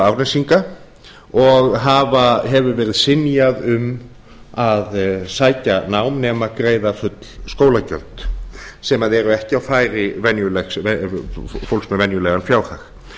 árnesinga og hefur verið synjað um að sækja nám nema greið full skólagjöld sem eru ekki á færi fólks með venjulegan fjárhag